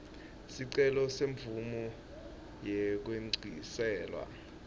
sicelo semvumo yekwengciselwa